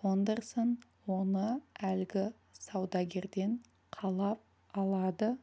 фондерсон оны әлгі сәудегерден қалап алады